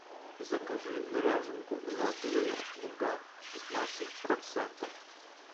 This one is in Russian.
закажи ряженку золотые луга пятнадцать процентов